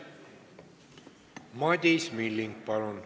Madis Milling, palun!